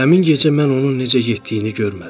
Həmin gecə mən onun necə getdiyini görmədim.